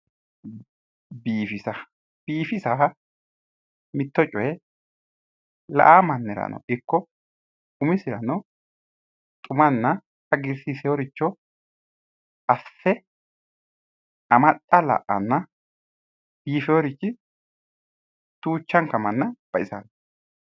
Biifisa. Biifisa mitto coye la"awo mannirano ikko umisirano xumanna hagiirsiisiworicho asse amaxxa la'anna biifiworichi duuchanka manna baxisanno.